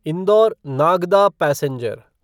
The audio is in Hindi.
indoor Nagda passenger